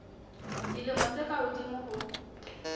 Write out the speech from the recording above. dilemo tse ka hodimo ho